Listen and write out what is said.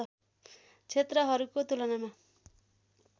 क्षेत्रहरूको तुलनामा